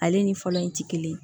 Ale ni fɔlɔ in ti kelen ye